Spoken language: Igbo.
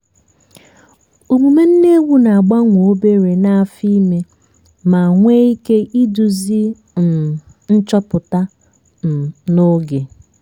omume nne ewu na-agbanwe obere n'afọ ime ma nwee ike iduzi um nchọpụta um n'oge.